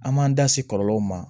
An m'an da se kɔlɔlɔw ma